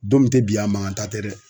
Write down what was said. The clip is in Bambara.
Don min tɛ bi ye a mankantan tɛ dɛ.